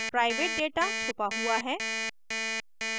private data छुपा हुआ है